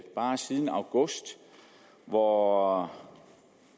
bare siden august hvor